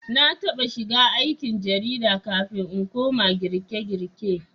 Na taɓa shiga aikin jarida kafin in koma girkegirke